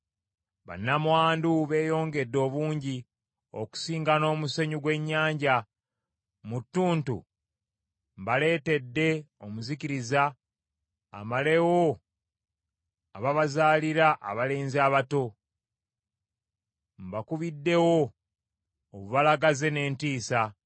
Bannamwandu beeyongedde obungi okusinga n’omusenyu gw’ennyanja. Mu ttuntu mbaleetedde omuzikiriza amalewo ababazaalira abalenzi abato. Mbakubiddewo obubalagaze n’entiisa.